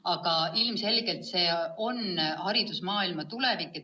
Aga ilmselgelt see on haridusmaailma tulevik.